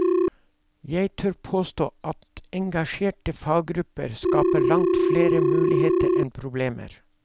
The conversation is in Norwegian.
Jeg tør påstå at engasjerte faggrupper skaper langt flere muligheter enn problemer.